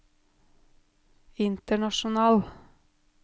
international